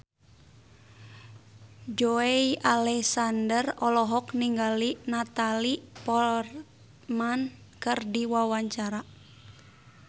Joey Alexander olohok ningali Natalie Portman keur diwawancara